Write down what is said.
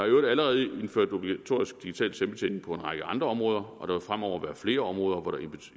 i øvrigt allerede indført obligatorisk digital selvbetjening på en række andre områder og der vil fremover være flere områder hvor der